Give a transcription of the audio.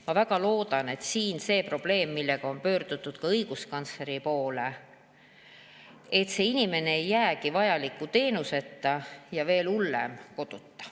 Ma väga loodan, et see probleem, millega on pöördutud ka õiguskantsleri poole,, et see inimene ei jää vajaliku teenuseta, või veel hullem, koduta.